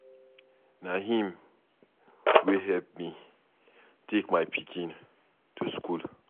Na him wey help me take my pikin to school.